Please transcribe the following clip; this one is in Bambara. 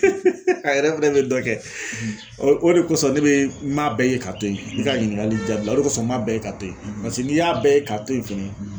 a yɛrɛ fɛnɛ bɛ dɔ kɛ o de kosɔn ne bɛ n m'a bɛɛ ye ka to ye i ka ɲininkali jaabi la o de kosɔn n m'a bɛɛ ye k'a to ye paseke n'i y'a bɛɛ ye ka to ye fɛnɛ